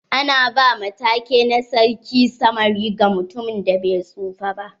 Ana ba ma take na sarkin samari ga mutumin da bai tsufa ba.